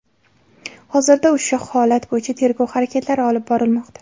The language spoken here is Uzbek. Hozirda ushu holat bo‘yicha tergov harakatlari olib borilmoqda.